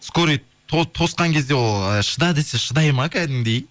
скорый тосқан кезде ол ы шыда десе шыдайды ма кәдімгідей